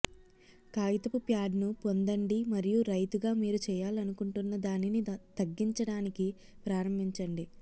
కాగితపు ప్యాడ్ను పొందండి మరియు రైతుగా మీరు చేయాలనుకుంటున్నదానిని తగ్గించడానికి ప్రారంభించండి